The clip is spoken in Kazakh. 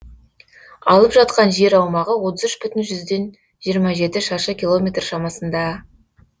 алып жатқан жер аумағы отыз үш бүтін жүзден жиырма жеті шаршы километр шамасында